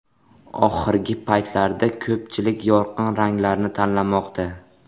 Oxirgi paytlarda ko‘pchilik yorqin ranglarni tanlamoqda.